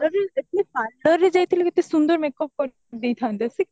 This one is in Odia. parlour କୁ ଯାଈଥିଲେ କେତେ ସୁନ୍ଦର makeup କରିଦଇଥାନ୍ତେ ସିଏ କଣ